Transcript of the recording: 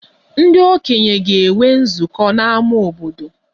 Ndị okenye ga-enwe nzukọ n'ámá obodo